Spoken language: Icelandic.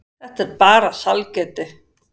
Þetta er bara sælgæti.